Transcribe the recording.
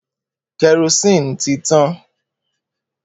Kerosene ti tan.